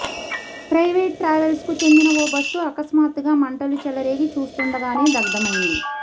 private ట్రావెల్స్కు చెందిన ఓ బస్సు అకస్మాత్తుగా మంటలు చెలరేగి చూస్తుండగానే దగ్ధమైంది